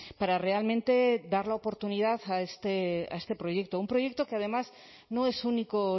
para realmente dar la oportunidad a este proyecto un proyecto que además no es único